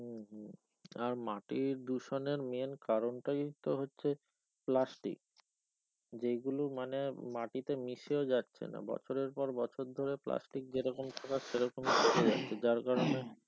আর মাটি দূষণের main কারণটাই তো হচ্ছে plastic যেগুলো মানে মাটিতে মিশেও যাচ্ছে না বছর পর বছর ধরে plastic যেরকম থাকার সেরকম থেকে যাচ্ছে যার কারনে,